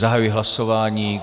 Zahajuji hlasování.